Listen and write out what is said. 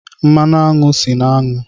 Mmanụ aṅụ si na aṅụ.